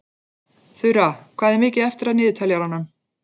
Þura, hvað er mikið eftir af niðurteljaranum?